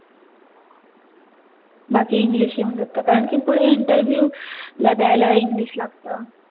बाकी english येऊन जात कारण कि पुढे interview ला दयायला english लागतं